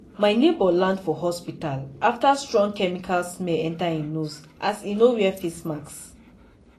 my neighbour land for hospital after strong chemical smell enter e nose as e no wear face mask.